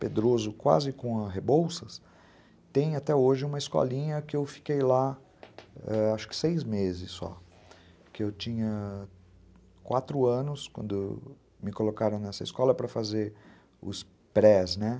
Pedroso, quase com Rebolsas, tem até hoje uma escolinha que eu fiquei lá, acho que seis meses só, porque eu tinha quatro anos quando me colocaram nessa escola para fazer os prés, né?